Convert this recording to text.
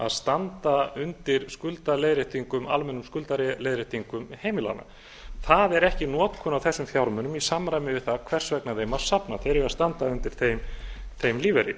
að standa undir almennum skuldaleiðréttingum heimilanna það er ekki notkun á þessum fjármunum í samræmi við það hvers vegna þeim var safnað þeir eiga að standa undir þeim lífeyri